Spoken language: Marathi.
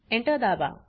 Enter दाबा